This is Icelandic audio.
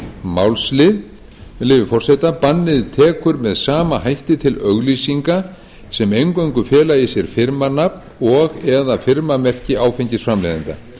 málsl með leyfi forseta bannið tekur með sama hætti til auglýsinga sem eingöngu fela í sér firmanafn og eða firmamerki áfengisframleiðanda